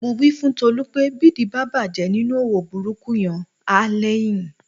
Mo wí fún Tolú pé bídìí bá bàjẹ́ nínú òwò burúkú yẹn, á lẹ́yìn